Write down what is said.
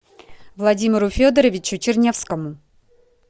владимиру федоровичу чернявскому